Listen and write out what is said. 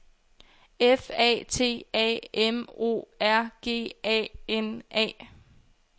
F A T A M O R G A N A